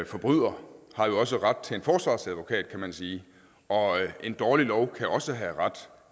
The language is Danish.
forbryder har også ret til en forsvarsadvokat kan man sige og en dårlig lov kan også har ret